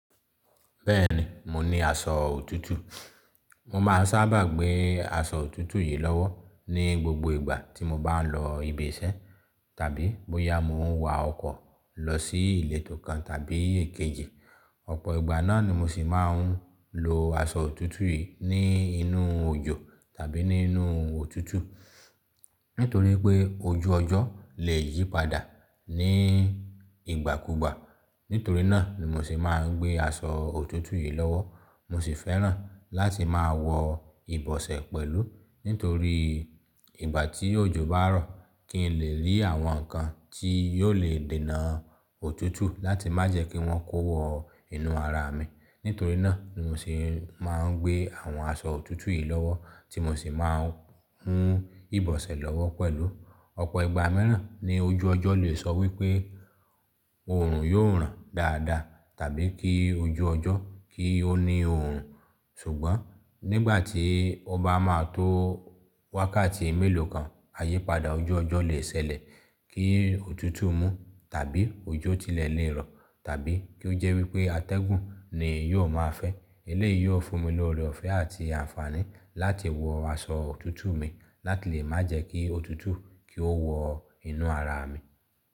Bẹ́ẹ̀ni, mo ní aṣọ òtútù. Mo máa sábà gbé aṣọ òtútù yìí lọ́wọ́ ní gbogbo ìgbà tí mo bá ń lọ ibi iṣẹ́ tàbí bóyá mo ń wa ọkọ̀ lọ sí ilé tó kan tàbí èkejì. Ọ̀pọ̀ ìgbà náà ni mo sì máa ń lo aṣọ òtútù yìí ní inú òjò tàbí nínú òtútù. Nítorí pé ojú ọjọ́ lè yí padà ní ìgbàkúgbà. Nítorí náà ni mo sì máa ń gbé aṣọ òtútù yìí lọ́wọ́. Mo sì fẹ́ràn láti máa wọ ìbọ̀sẹ̀ pẹ̀lú. Nítorí ìgbà tí òjò bá rọ̀ kí n lè rí àwọn nǹkan tí yóò lè dènà òtútù láti má jẹ́ kí wọ́n kó wọ inú ara mi. Nítorí náà ni mo sì máa ń gbé àwọn aṣọ òtútù yìí lọ́wọ́ tí mo sì máa ń hun ìbọ̀sẹ̀ lọ́wọ́ pẹ̀lú. Ọ̀pọ̀ ìgbà míràn ni ojú ọjọ́ lè sọ wí pé òòrùn yóò ràn dáadáa tàbí kí ojú ọjọ́ kí ó ní òòrùn. Ṣùgbọ́n nígbà tí ọba máa tó wákàtí mélòó kan, ayípadà ojú ọjọ́ lè ṣẹlẹ̀ kí òtútù mú tàbí ojó tilẹ̀ lé rọ̀ tàbí kí ó jẹ́ wí pé atẹ́gùn ni yóò máa fẹ́. Eléyìí yóò fún mi lórí ọ̀fẹ́ àti àǹfààní láti wọ aṣọ òtútù mi láti lè má jẹ́ kí òtútù kí ó wọ inú ara mi.